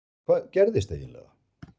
Hvað gerðist eiginlega?